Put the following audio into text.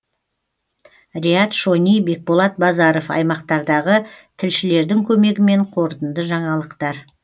риат шони бекболат базаров аймақтардағы тілшілердің көмегімен қорытынды жаңалықтар